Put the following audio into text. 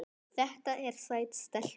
Þetta er sæt stelpa.